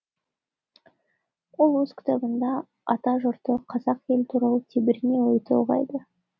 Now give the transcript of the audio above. ол өз кітабында атажұртты қазақ елі туралы тебірене ой толғайды